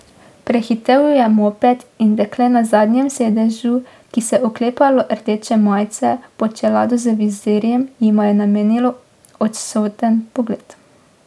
Prehitel ju je moped in dekle na zadnjem sedežu, ki se je oklepalo rdeče majice pod čelado z vizirjem, jima je namenilo odsoten pogled.